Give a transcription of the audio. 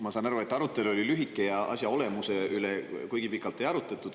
Ma saan aru, et arutelu oli lühike ja asja olemuse üle kuigi pikalt ei arutatud.